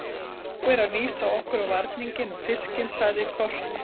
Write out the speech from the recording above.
Þá er að vísa okkur á varninginn og fiskinn, sagði Kort.